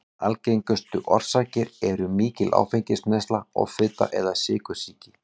Algengustu orsakir eru mikil áfengisneysla, offita eða sykursýki.